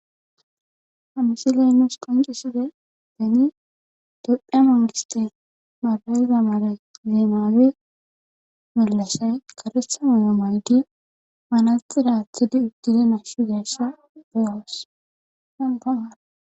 ha misiley nuus qonciside deni doppha mangistes magayiza male zeemaabe mellashay karetha maya maydi manaxiraathidi uddide nashu deasha beohoos hanqamara